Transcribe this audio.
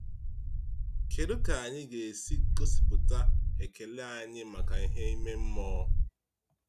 Kedu ka anyị ga-esi gosipụta ekele anyị maka ihe ime mmụọ?